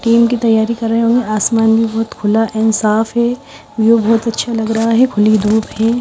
Team की तैयारी कर रहे होंगे आसमान भी बहोत खुला एंड साफ है व्यू बहोत अच्छा लग रहा है खुली धूप है।